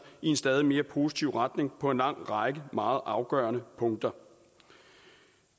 i en stadig mere positiv retning på en lang række meget afgørende punkter